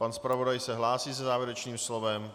Pan zpravodaj se hlásí se závěrečným slovem.